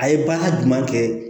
A ye baara jumɛn kɛ